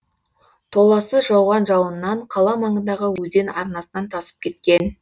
толассыз жауған жауыннан қала маңындағы өзен арнасынан тасып кеткен